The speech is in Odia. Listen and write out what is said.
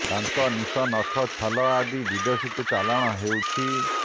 ଦାନ୍ତ ନିଶ ନଖ ଛାଲ ଆଦି ବିଦେଶକୁ ଚାଲାଣ ହେଉଛି